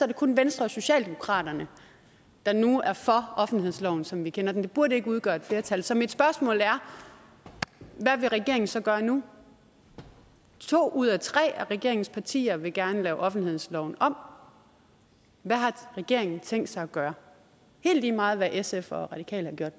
det kun venstre og socialdemokraterne der nu er for offentlighedsloven som vi kender den det burde ikke udgøre et flertal så mit spørgsmål er hvad vil regeringen så gøre nu to ud af tre af regeringens partier vil gerne lave offentlighedsloven om hvad har regeringen tænkt sig at gøre helt lige meget hvad sf og radikale